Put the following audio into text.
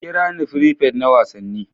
Ku kira ni prefect na Wasanni.